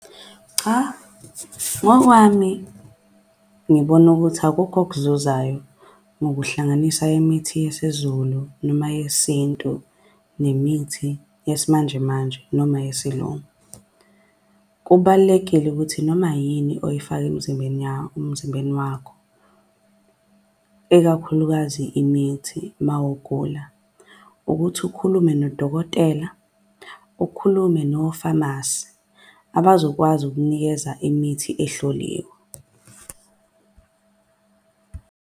Cha, ngokwami ngibona ukuthi akukho okuzuzayo ngokuhlanganisa imithi yesiZulu noma yesintu nemithi yesimanjemanje noma yesilungu. Kubalulekile ukuthi noma yini oyifaka emzimbeni wakho ikakhulukazi imithi mawugula. Ukuthi ukhulume nodokotela ukhulume nofamasi abazokwazi ukukunikeza imithi ehloliwe.